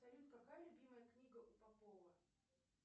салют какая любимая книга у попова